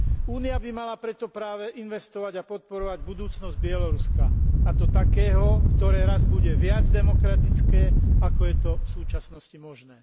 Únia by mala preto práve investovať a podporovať budúcnosť Bieloruska, a to takého, ktoré raz bude viac demokratické, ako je to v súčasnosti možné.